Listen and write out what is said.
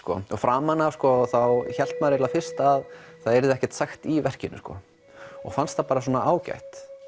framan af þá hélt maður fyrst að það yrði ekkert sagt í verkinu og fannst það bara ágætt